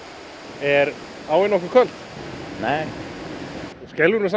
er áin nokkuð köld nei en þú skelfur nú samt